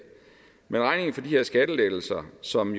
men regningen for de her skattelettelser som